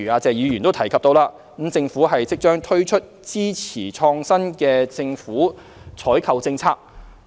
謝議員剛才提及，政府即將推出支持創新的政府採購政策。